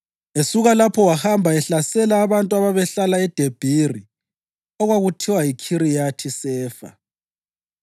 Esuka lapho wahamba ehlasela abantu ababehlala eDebhiri (okwakuthiwa yiKhiriyathi-Sefa).